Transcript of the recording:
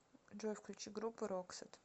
джой включи группу роксет